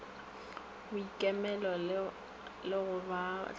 boikemelo le go ba hlamela